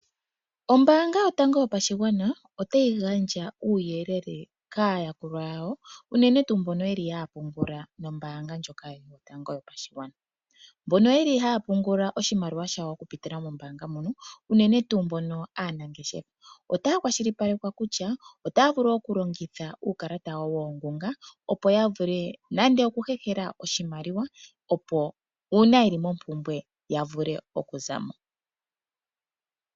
Ombaanga yotango yopashigwana otayi gandja uuyelele kaayakulwa yawo unene tuu mbono haya pungula nombaanga yetu ndjono yotango yopashigwana. Mbono yeli haya pungula oshimaliwa shawo okupitila mombaanga ndjino unene tuu aanangeshefa otaya kwashilipalekwa kutya otaya vulu okulongitha uukalata wawo mbono woongunga opo ya vule nande okuhehela oshimaliwa op uuna yeli mompumbwe ya vule okuza mo.